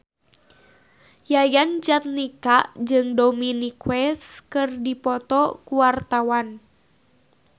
Yayan Jatnika jeung Dominic West keur dipoto ku wartawan